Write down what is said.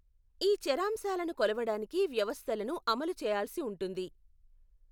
ఈ చరాంశాలను కొలవడానికి వ్యవస్థలను అమలు చేయాల్సి ఉంటుంది.